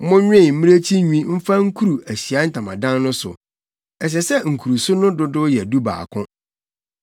“Monwen mmirekyi nwi mfa nkuru Ahyiae Ntamadan no so. Ɛsɛ sɛ nkuruso no dodow yɛ dubaako.